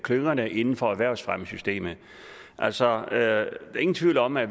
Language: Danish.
klyngerne inden for erhvervsfremmesystemet altså der er ingen tvivl om at